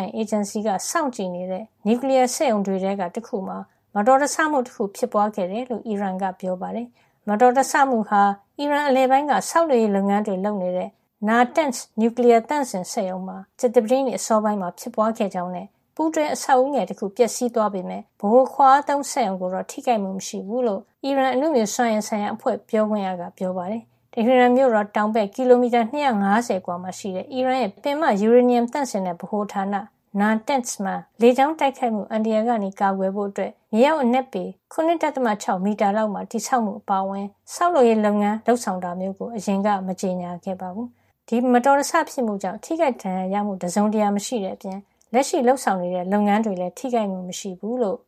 င် အေဂျင်စီ က စောင့်ကြည့်နေတဲ့ နျူကလီယား စက်ရုံတွေထဲက တခုမှာ မတော်တဆမှု တခု ဖြစ်ပွါးခဲ့ကြောင်း အီရန်က ပြောပါတယ်။ ဒါပေမယ့် စက်ရုံမှာ ပျက်စီးမှုတော့ မရှိဘူးလို့လည်း ပြောပါတယ်။ မတော်တဆမှုဟာ အီရန်အလယ်ပိုင်းက ဆောက်လုပ်ရေးလုပ်ငန်းတွေ လုပ်နေတဲ့ Natanz နျူကလီယားသန့်စင် စက်ရုံမှာ ဇူလိုင်လ ၂ ရက် ကြာသပတေးနေ့ အစောပိုင်းမှာ ဖြစ်ပွါးခဲ့ကြောင်းနဲ့ ပူးတွဲအဆောက်ဦးငယ်တခု ပျက်စီးသွားပေမယ့် ဗဟိုခွါအားသုံးစက်ရုံ ကိုတော့ ထိခိုက်မှု မရှိဘူးလို့ အီရန်အနုမြူစွမ်းအင်ဆိုင်ရာ အဖွဲ့ပြောခွင့်ရ Behruz Kamalvandi က ပြောပါတယ်။ တဟီရန်မြို့တော် တောင်ဘက် ကီလိုမီတာ ၂၅၀ အကွာမှာ ရှိတဲ့ အီရန်ရဲ့ ပင်မ ယူရေနီယံသန့်စင်တဲ့ ဗဟိုဌာန Natanz မှာ လေကြောင်း တိုက်ခိုက်မှု အန္တရာယ်ကနေ ကာကွယ်ဖို့ မြေအောက် အနက်ပေ ၇.၆ မီတာ လောက်မှာ တည်ဆောက်မှု အပါအဝင် ဆောက်လုပ်ရေး လုပ်ငန်းလုပ်ဆောင် တာမျိုး ကို အရင်က မကြေညာခဲ့ဘူးပါဘူး။ ဒီမတော်တဆ ဖြစ်မှုကြောင့် ထိခိုက်ဒဏ်ရာရမှု တစုံတရာ မရှိတဲ့ အပြင် လက်ရှိလုပ်ဆောင်နေတဲ့ လုပ်ငန်းတွေလည်း ထိခိုက်မှု မရှိဘူးလို့